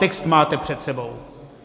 Text máte před sebou.